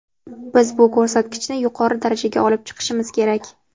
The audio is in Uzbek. Biz bu ko‘rsatkichni yuqori darajaga olib chiqishimiz kerak.